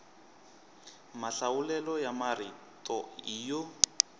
mahlawulelo ya marito i yo